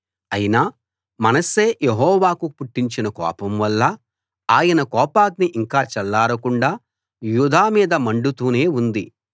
అయినా మనష్షే యెహోవాకు పుట్టించిన కోపం వల్ల ఆయన కోపాగ్ని ఇంకా చల్లారకుండా యూదా మీద మండుతూనే ఉంది